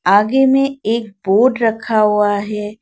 आगे में एक बोर्ड रखा हुआ है।